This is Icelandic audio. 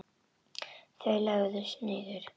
Þar lögðust þeir niður.